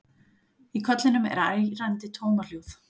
Í kollinum er ærandi tómahljóð.